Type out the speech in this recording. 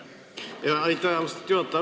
Aitäh, austatud juhataja!